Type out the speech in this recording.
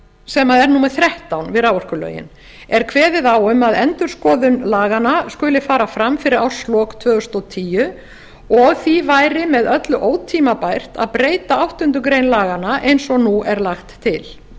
sem er númer þrettán við raforkulögin er kveðið á um að endurskoðun laganna skuli fara fram fyrir árslok tvö þúsund og tíu og því væri með öllu ótímabært að breyta áttundu grein laganna eins og nú lagt er til